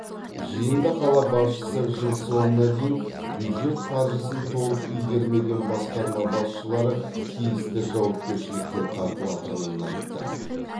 жиында қала басшысы жыл соңына дейін бюджет қаржысын толық игермеген басқарма басшылары тиісті жауапкершілікке тартылатынын айтты